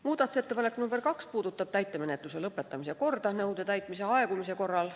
Muudatusettepanek nr 2 puudutab täitemenetluse lõpetamise korda nõude täitmise aegumise korral.